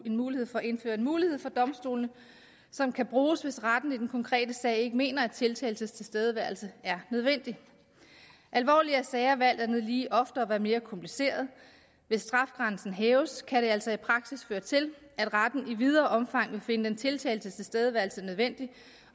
mulighed for at indføre en mulighed for domstolene som kan bruges hvis retten i den konkrete sag ikke mener at tiltaltes tilstedeværelse er nødvendig alvorligere sager vil alt andet lige oftere være mere kompliceret og hvis strafgrænsen hæves kan det altså i praksis føre til at retten i videre omfang vil finde den tiltaltes tilstedeværelse nødvendig